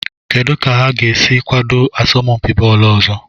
Kedu ka ha ga-esi kwado asọmpi bọọlụ ọzọ?